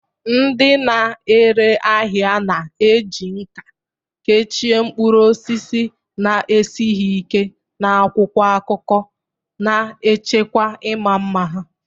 Ndị na-ere ahịa na-eji nkà kechie mkpụrụ osisi na-esighị ike n'akwụkwọ akụkọ, na-echekwa ịma mma ha.